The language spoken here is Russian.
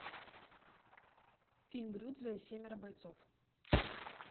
фильм рюдзо и семеро бойцов